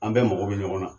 An bɛɛ mago bɛ ɲɔgɔn na